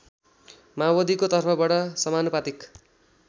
माओवादीको तर्फबाट समानुपातिक